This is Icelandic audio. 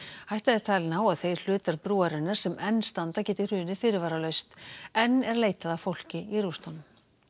hætta er talin á að þeir hlutar brúarinnar sem enn standa geti hrunið fyrirvaralaust enn er leitað að fólki í rústunum